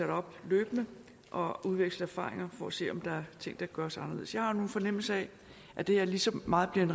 op løbende og udveksle erfaringer for at se om der er ting der kan gøres anderledes jeg har en fornemmelse af at det her lige så meget bliver en